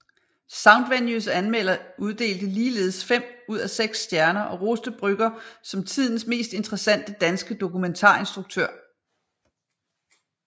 Soundvenues anmelder uddelte ligeledes fem ud af seks stjerner og roste Brügger som tidens mest interessante danske dokumentarinstruktør